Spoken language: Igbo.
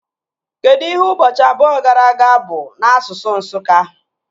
Kedụ ihe ụbọchị abụọ gara aga bụ n'asụsụ Nsụka?